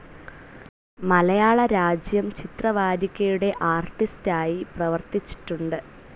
മലയാളരാജ്യം ചിത്രവാരികയുടെ ആർട്ടിസ്‌റ്റായി പ്രവർത്തിച്ചിട്ടുണ്ട്.